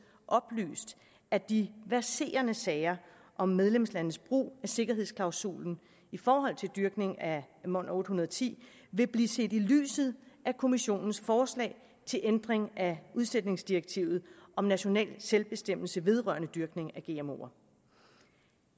oplyst at de verserende sager om medlemslandenes brug af sikkerhedsklausulen i forhold til dyrkning af mon810 vil blive set i lyset af kommissionens forslag til ændring af udsætningsdirektivet om national selvbestemmelse vedrørende dyrkning af gmoer